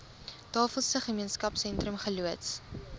tafelsig gemeenskapsentrum geloods